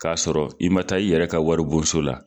K'a sɔrɔ i ma taa i yɛrɛ ka wari bonso la.